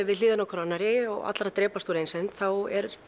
við hliðina á hver annarri og allir að drepast úr einsemd eru